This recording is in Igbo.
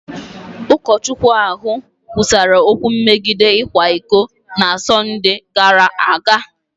Ụkọchukwu ahụ kwusara okwu megide ịkwa iko na Sọnde gara aga.